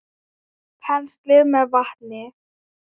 Penslið með vatni.